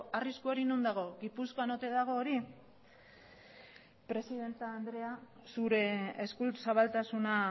arriskua hori non dago gipuzkoan ote dago hori presidente andrea zure eskuzabaltasuna